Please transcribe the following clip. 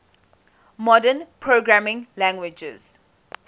modern programming languages